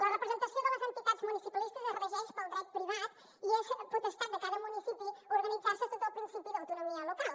la representació de les entitats municipalistes es regeix pel dret privat i és potestat de cada municipi organitzar se sota el principi d’autonomia local